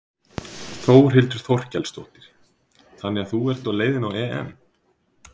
Þórhildur Þorkelsdóttir: Þannig að þú ert á leiðinni á EM?